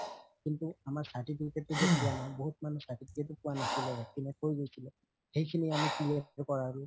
কিন্তু আমাৰ certificate তো যে পুৱা নাই বহুত মানুহ certificate ও পোৱা নাছিলে কৈ গৈছিলে সেইখিনি আমি clear কৰালো